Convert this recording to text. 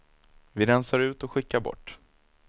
Vi rensar ut och skickar bort.